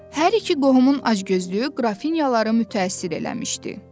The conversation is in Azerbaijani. Hər iki qohumun acgözlüyü qrafinyaları mütəəssir eləmişdi.